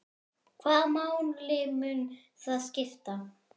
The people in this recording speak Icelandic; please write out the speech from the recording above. Hvaða máli mun það skipta?